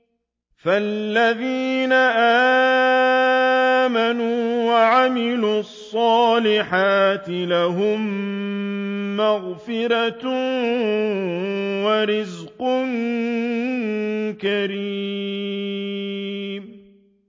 فَالَّذِينَ آمَنُوا وَعَمِلُوا الصَّالِحَاتِ لَهُم مَّغْفِرَةٌ وَرِزْقٌ كَرِيمٌ